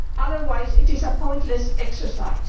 otherwise, it is a pointless exercise.